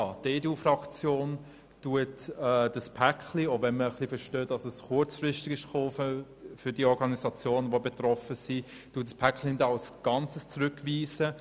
Die EDUFraktion weist dieses Päcklein – selbst wenn wir für die betroffenen Organisationen wegen der Kurzfristigkeit Verständnis haben – nicht als Ganzes zurück.